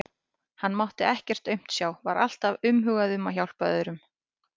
Hann mátti ekkert aumt sjá, var alltaf umhugað um að hjálpa öðrum.